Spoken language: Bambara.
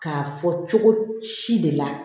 K'a fɔ cogo si de la